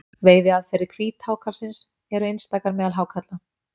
Veiðiaðferðir hvíthákarlsins eru einstakar meðal hákarla.